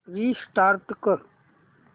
restart कर